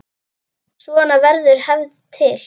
Svona verður hefð til.